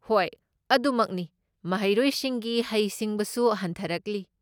ꯍꯣꯏ, ꯑꯗꯨꯃꯛꯅꯤ, ꯃꯍꯩꯔꯣꯏꯁꯤꯡꯒꯤ ꯍꯩꯁꯤꯡꯕꯁꯨ ꯍꯟꯊꯔꯛꯂꯤ꯫